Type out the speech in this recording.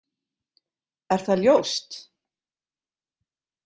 Er það ljóst?